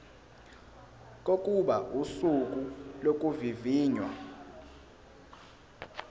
kokuba usuku lokuvivinywa